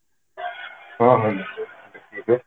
ଦେଖିବା